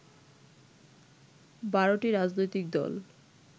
১২টি রাজনৈতিক দল